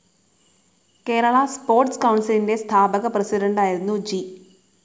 Kerala sports കൗൺസിലിന്റെ സ്ഥാപക പ്രസിഡന്റായിരുന്നു ജി.